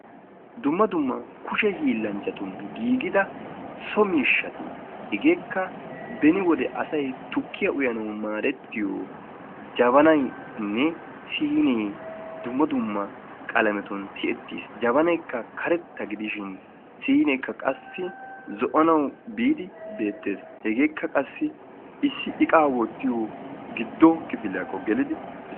Dumma dumma kushshe hiillanchchatun giigida so miishshati heegekka beni wode asay tukkiyaa uyanawu maadettiyoo jabanaynne siinee dumma dumma qalamiyatun tiyettiis. jabanay karetta gidishin siinekka zo'anawu biidi beettees, heegekka qassi issi iqaa wottiyoo kifiliyaakko gelidi